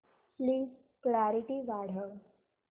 please clarity वाढव